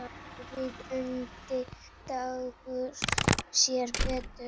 Óvíða undi Dagur sér betur.